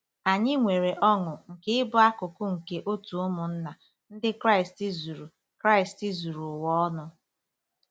Anyị nwere ọṅụ nke ịbụ akụkụ nke òtù ụmụnna Ndị Kraịst zuru Kraịst zuru ụwa ọnụ.